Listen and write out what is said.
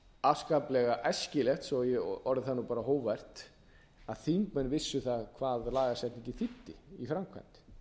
afskaplega æskilegt svo að ég orði það bara hógvært að þingmenn vissu hvað lagasetningin þýddi í framkvæmd